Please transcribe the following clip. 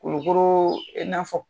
Kulukoro e n'a fɔ.